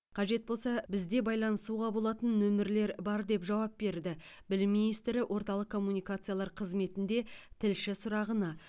қажет болса бізде байланысуға болатын нөмірлер бар деп жауап берді білім министрі орталық коммуникациялар қызметінде тілші сұрағына